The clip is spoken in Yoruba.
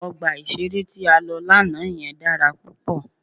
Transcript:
Ọgbà ìṣeré tí a lọ lánàá yẹn dára púpọ̀.